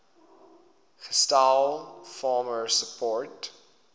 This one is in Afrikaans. gestel farmer support